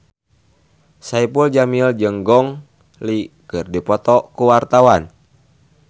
Saipul Jamil jeung Gong Li keur dipoto ku wartawan